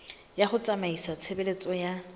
ya ho tsamaisa tshebeletso ya